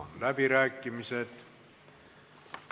Avan läbirääkimised.